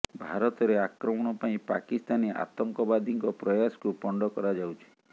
ଭାରତରେ ଆକ୍ରମଣ ପାଇଁ ପାକିସ୍ତାନୀ ଆତଙ୍କବାଦୀଙ୍କ ପ୍ରୟାସକୁ ପଣ୍ଡ କରାଯାଉଛି